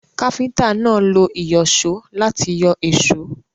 Káfíntà náà lo ìyọ̀só láti yọ èsó.